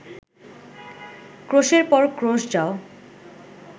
ক্রোশের পর ক্রোশ যাও